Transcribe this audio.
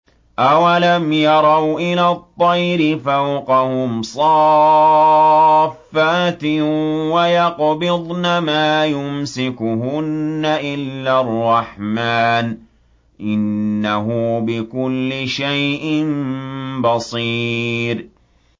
أَوَلَمْ يَرَوْا إِلَى الطَّيْرِ فَوْقَهُمْ صَافَّاتٍ وَيَقْبِضْنَ ۚ مَا يُمْسِكُهُنَّ إِلَّا الرَّحْمَٰنُ ۚ إِنَّهُ بِكُلِّ شَيْءٍ بَصِيرٌ